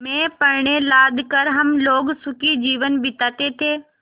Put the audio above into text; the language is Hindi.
में पण्य लाद कर हम लोग सुखी जीवन बिताते थे